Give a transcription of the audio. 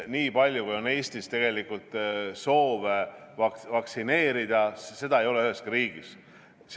Nii palju, kui on Eestis soove vaktsineerida, ei ole üheski riigis.